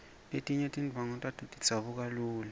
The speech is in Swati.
letinye tindvwangu tato tidzabuka lula